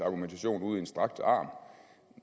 argumentation ud i en strakt arm